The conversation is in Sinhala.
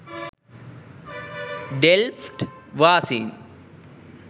ඩෙල්ෆ්ට් වාසීන්ට